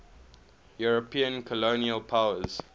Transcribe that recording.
european colonial powers